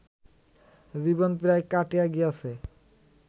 জীবন প্রায় কাটিয়া গিয়াছে